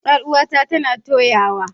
Yar uwata tana toyawa.